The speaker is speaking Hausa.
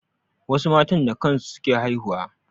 Wasu matan da kan su suke haihuwa.